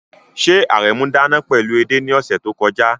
Ṣé Aremu dáná pẹ̀lú ede ní ọ̀sẹ̀ tó kọjá?